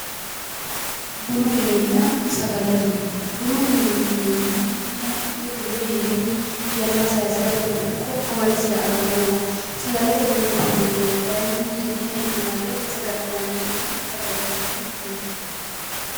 Bunu minenna sagalete mine, bununna sagalete mine yineemmohu mannu ite duuwe hee'renni mannu yanna saaysirateno ikko amalisira agannowaati, sagalete mineeti yineemmohu kayiinni hud'ne hee'ne marre saga'linanni mine sagalte mine yinanni.